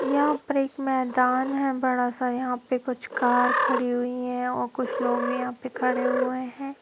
यहां पर एक मैदान है बड़ा सा यहां पे कुछ कार खड़ी हुई हैं और कुछ लोग भी यहां पे खड़े हुए हैं।